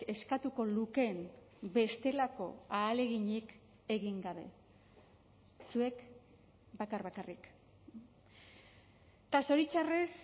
eskatuko lukeen bestelako ahaleginik egin gabe zuek bakar bakarrik eta zoritxarrez